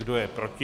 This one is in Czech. Kdo je proti?